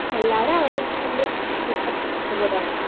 എല്ലാവരും അവരുടെ ജീവൻ